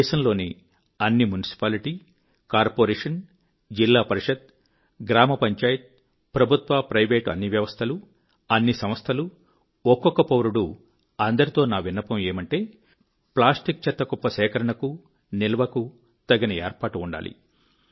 దేశంలోని అన్ని municipality corporation జిల్లా పరిషత్ గ్రామ పంచాయత్ ప్రభుత్వ ప్రైవేట్ అన్ని వ్యవస్థలు అన్ని సంస్థలు ఒక్కొక్క పౌరుడు అందరితో నా విన్నపం ఏమంటే ప్లాస్టిక్ చెత్త కుప్ప సేకరణకు నిల్వకు తగిన ఏర్పాటు ఉండాలి